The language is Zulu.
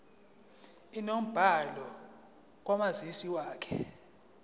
inombolo kamazisi wakho